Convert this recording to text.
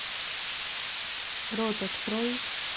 рот открой